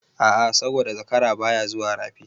A'a saboda zakara baya zuwa Rafi.